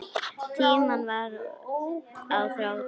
Tíminn var á þrotum.